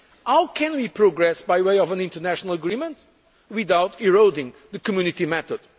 How can we progress by way of an international agreement, without eroding the Community